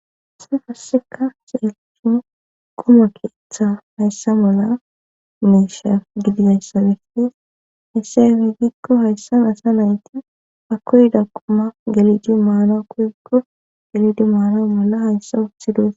Issi hasseka seelthu quma keeththa hayssa mola mesha gidizassabeftis hisse wiigikko hayssan asa nayti akoyda quma geliji maara kuyekko galidi maaro mola hayssa uthidos.